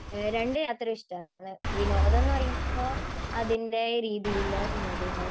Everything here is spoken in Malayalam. രണ്ട് യാത്രയും ഇഷ്ടമാ. വിനോദം എന്നുപറയുമ്പോൾ അതിന്റെ രീതിയിലുള്ള വിനോദം ഉണ്ടാവും.